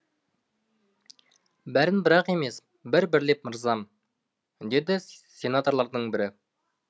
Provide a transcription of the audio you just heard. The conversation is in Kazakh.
бәрін бірақ емес бір бірлеп мырзам деді сенаторлардың бірі